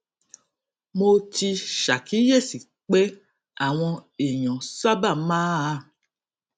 mo ti ṣàkíyèsí pé àwọn èèyàn sábà máa